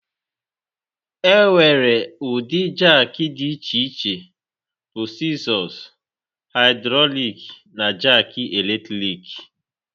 Enwere ụdị jakị dị iche iche bụ Sịzọ, Haịdrọlik na Jaki Eletrik.